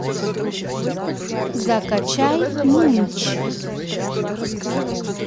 закачай мунч